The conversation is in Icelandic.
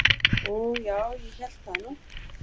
"""Og já, ég hélt það nú."""